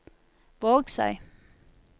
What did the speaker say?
Vågsøy